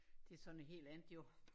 Det så noget helt andet jo